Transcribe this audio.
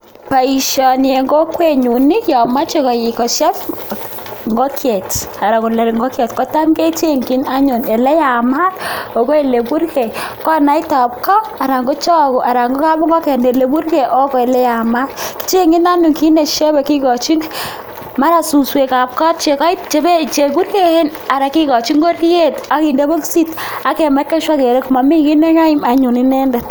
Boishoni eng kokwenyu ko ngomoje kosheb ingokiet anan kolok ingokiet kechenjin anyun ole yamat ako ole burgei konaitab ko anan ko choge anan ko kapingoken ole burgei ak ole yamat. Kichenjin anyun kit ne shebei kikojin mara[cs[ suswekab kot cheburkeen ana kikoji ngoriet ak kinde bokisit ak kemekan sure kele mamikiy ne keim inendet.